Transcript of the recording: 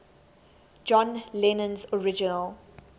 john lennon's original